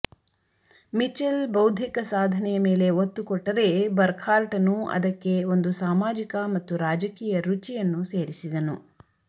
Mitchell ಬೌದ್ದಿಕ ಸಾಧನೆಯ ಮೇಲೆ ಒತ್ತುಕೊಟ್ಟರೆ ಬರ್ಕ್ಹಾರ್ಟನು ಅದಕ್ಕೆ ಒಂದು ಸಾಮಾಜಿಕ ಮತ್ತು ರಾಜಕೀಯ ರುಚಿಯನ್ನು ಸೇರಿಸಿದನು